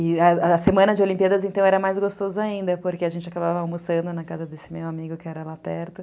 E a semana de Olimpíadas, então, era mais gostoso ainda, porque a gente acabava almoçando na casa desse meu amigo, que era lá perto.